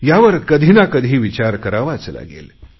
यावर कधी ना कधी विचार करावाच लागेल